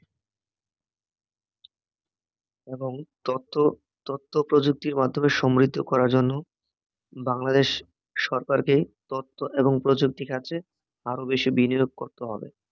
এবং তথ্য, তথ্যপ্রযুক্তির মাধ্যমে সম্মানিত করার জন্য বাংলাদেশ সরকারকে তথ্য এবং প্রযুক্তি খাঁতে আরও বেশি বিনিয়োগ করতে হবে